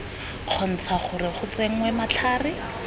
kgontsha gore go tsenngwe matlhare